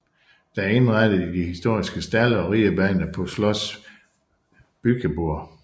Det er indrettet i de historiske stalde og ridebane på Schloss Bückeburg